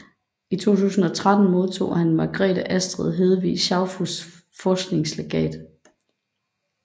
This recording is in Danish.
I 2013 modtog han Margrethe Astrid Hedvig Schaufuss Forskningslegat